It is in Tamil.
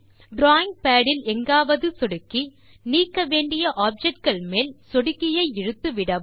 டிராவிங் பாட் இல் எங்காவது சொடுக்கி நீக்க வேண்டிய ஆப்ஜெக்ட் கள் மேல் சொடுக்கியை இழுத்து விடவும்